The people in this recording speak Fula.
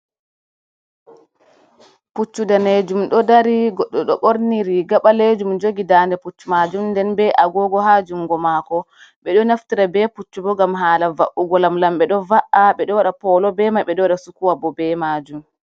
Puccu ɗanejum ɗo dari goɗɗo ɗo ɓorni riga ɓalejum jogi dande puccu majum nden be a gogo ha jungo mako, ɓe ɗo naftira be puccu bo ngam hala va’ugo lam lam ɓe ɗo va’a ɓe ɗo waɗa polo be mai, ɓe ɗo waɗa sukuwa bo be majum.